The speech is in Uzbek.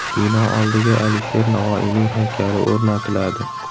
Bino oldiga Alisher Navoiyning haykali o‘rnatiladi.